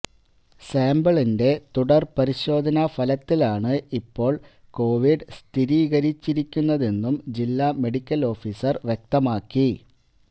സാമ്പിളിന്റെ തുടർ പരിശോധനാ ഫലത്തിലാണ് ഇപ്പോൾ കോവിഡ് സ്ഥിരീകരിച്ചിരിക്കുന്നതെന്നും ജില്ലാ മെഡിക്കൽ ഓഫീസർ വ്യക്തമാക്കി